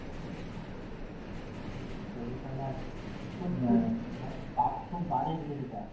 Semi final মানে খুব বাজে জিনিস এটা।